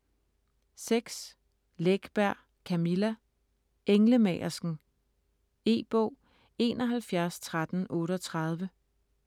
Läckberg, Camilla: Englemagersken E-bog 713138